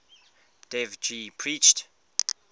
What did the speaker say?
dev ji preached